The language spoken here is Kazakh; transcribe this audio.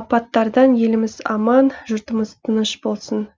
апаттардан еліміз аман жұртымыз тыныш болсын